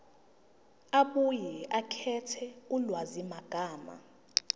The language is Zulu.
abuye akhethe ulwazimagama